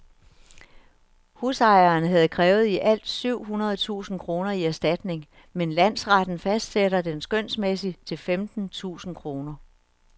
Husejeren havde krævet i alt syv hundrede tusind kroner i erstatning, men landsretten fastsætter den skønsmæssigt til femten tusind kroner.